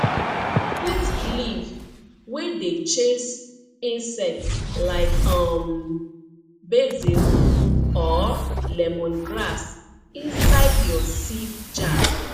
put leaf wey dey chase insect like um basil or lemongrass inside your seed jar